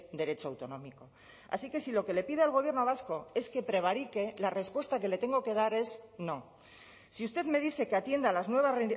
derecho autonómico así que si lo que le pide al gobierno vasco es que prevarique la respuesta que le tengo que dar es no si usted me dice que atienda a las nuevas